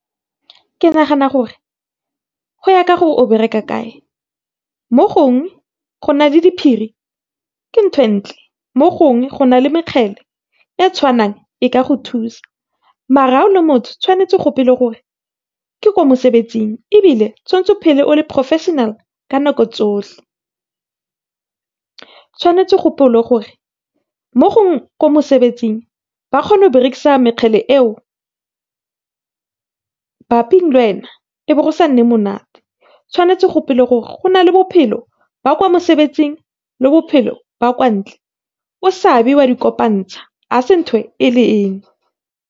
Ke nagana gore, go ya ka gore o bereka kae, mo go na le diphiri ke e ntle, mo gongwe go na le , e tshwanang e ka go thusa, maar ga o le motho o tshwanetse o gopole gore ke ko mosebetsing, ebile tshwantse o phele o le professional ka nako tsotlhe. Tshwanetse o gopole gore, mo ko mosebetsing ba kgona go berekisa eo, lwena be go sa nne monate. Tshwanetse o gopole gore go na le bophelo ba kwa mosebetsing, le bophelo ba kwa ntle. O sa be wa di kopantsha, a se ntho e le .